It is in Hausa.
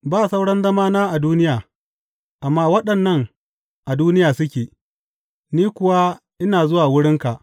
Ba sauran zamana a duniya, amma waɗannan a duniya suke, ni kuwa ina zuwa wurinka.